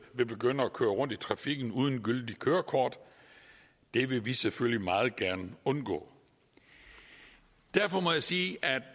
vil begynde at køre rundt i trafikken uden gyldigt kørekort det vil vi selvfølgelig meget gerne undgå derfor må jeg sige at